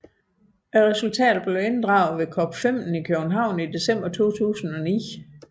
Resultaterne blev inddraget ved COP15 i København i december 2009